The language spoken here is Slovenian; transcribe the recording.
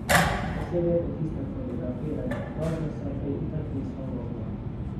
Posebej po tistem fotografiranju, dobro, saj si prej itak nisva mogla.